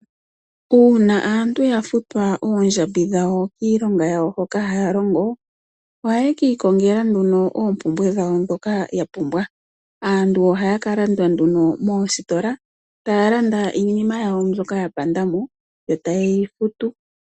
Uuna aantu ya futwa oondjambi dhawo kiilonga yawo hoka haya longo, ohaye kiikongele nduno oompumbwe dhawo dhoka yapumbwa . Aantu ohaya ka landa nduno moositola, taya landa iinima yawo mbyoka ya panda mo , yo taye yi futu.